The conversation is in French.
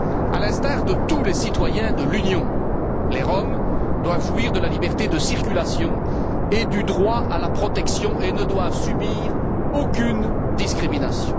À l'instar de tous les citoyens de l'Union, les Roms doivent jouir de la liberté de circulation et du droit à la protection et ne doivent subir aucune discrimination.